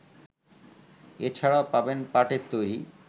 এছাড়া পাবেন পাটের তৈরি